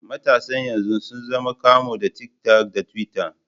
Matasan yanzu sun zama kamu da tik tak da tiwitta.